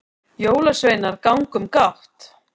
jólasveinar ganga um gátt